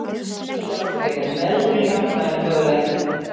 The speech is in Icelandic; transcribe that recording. Vel gert hjá Ásgerði en meðbyrinn hjálpaði henni mögulega eitthvað.